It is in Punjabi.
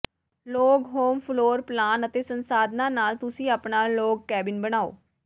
ਲੌਗ ਹੋਮ ਫਲੋਰ ਪਲਾਨ ਅਤੇ ਸੰਸਾਧਨਾਂ ਨਾਲ ਤੁਸੀਂ ਆਪਣਾ ਲੌਗ ਕੈਬਿਨ ਬਣਾਉ